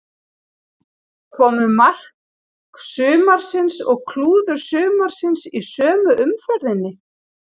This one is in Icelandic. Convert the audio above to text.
Komu mark sumarsins og klúður sumarsins í sömu umferðinni?